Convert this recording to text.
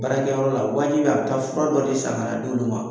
Barakɛyɔrɔ la wajibi a bi taa fura dɔ de san kana d'olu ma